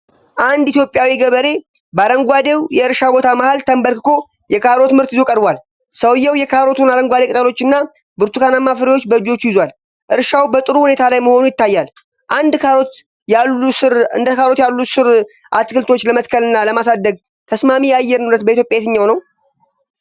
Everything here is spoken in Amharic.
አንድ ኢትዮጵያዊ ገበሬ በአረንጓዴው የእርሻ ቦታ መሃል ተንበርክኮ የካሮት ምርት ይዞ ቀርቧል። ሰውየው የካሮቱን አረንጓዴ ቅጠሎችና ብርቱካናማ ፍሬዎች በእጆቹ ይዟል። እርሻው በጥሩሁኔታ ላይ መሆኑ ይታያል። እንደ ካሮት ያሉ ሥር አትክልቶች ለመትከልና ለማሳደግ ተስማሚ የአየር ንብረት በኢትዮጵያ የትኛው ነው?